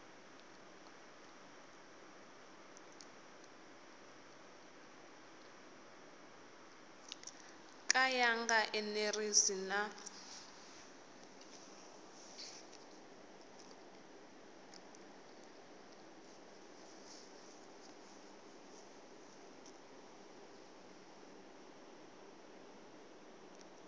ka ya nga enerisi na